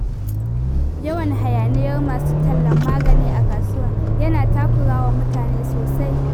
Yawan hayaniyar masu tallan magani a kasuwa yana takura wa mutane sosai